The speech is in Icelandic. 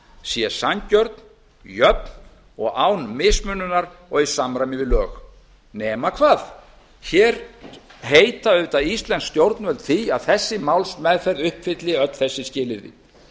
sé sanngjörn jöfn og án mismununar og í samræmi við lög nema hvað hér heita auðvitað íslensk stjórnvöld því að þessi málsmeðferð uppfylli öll þessi skilyrði